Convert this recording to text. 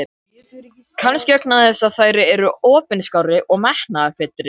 Kannski vegna þess að þær eru opinskárri og metnaðarfyllri.